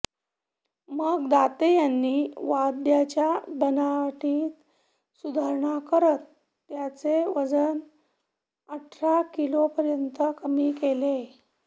मग दाते यांनी वाद्याच्या बनावटीत सुधारणा करत त्याचे वजन अठरा किलोपर्यंत कमी केले